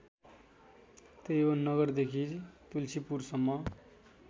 त्रिभुवन नगरदेखि तुल्सीपुरसम्म